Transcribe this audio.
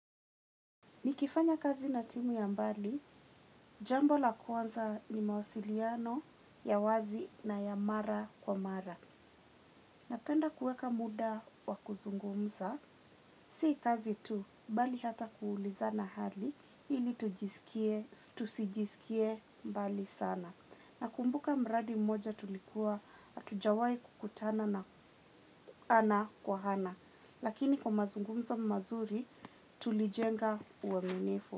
Nikifanya kazi na timu ya mbali, jambo la kwanza ni mawasiliano ya wazi na ya mara kwa mara. Napenda kuweka muda wa kuzungumza, sii kazi tu, bali hata kuulizana hali, ili tujisikie, tujisikie mbali sana. Nakumbuka mradi mmoja tulikuwa hatujawai kukutana na ana kwa ana. Lakini kwa mazungumzo mazuri, tulijenga uaminifu.